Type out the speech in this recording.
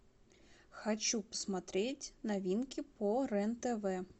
хочу посмотреть новинки по рен тв